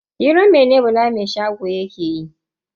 Hiran mene Bala mai shago yake miki?